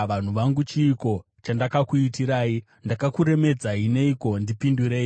“Vanhu vangu, chiiko chandakakuitirai? Ndakakuremedzai neiko? Ndipindurei.